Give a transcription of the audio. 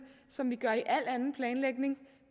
som vi gør i al anden planlægning